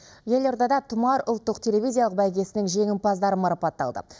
елордада тұмар ұлттық телевизиялық бәйгесінің жеңімпаздары марапатталды